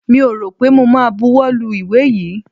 Mi ò rọ̀ pé mo ma buwọ́ lu ìwé yìí.